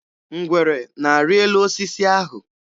Ngwere na-arị elu osisi ahụ.